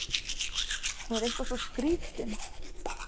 Hún er eitthvað svo skrýtin.